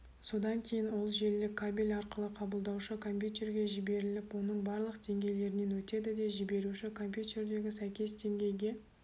содан кейін ол желілік кабель арқылы қабылдаушы компьютерге жіберіліп оның барлық деңгейлерінен өтеді де жіберуші компьютердегі сәйкес деңгейге